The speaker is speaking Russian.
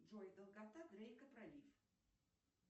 джой долгота дрейка пролив